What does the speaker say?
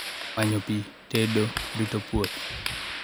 Manyo pi, tedo, rito puoth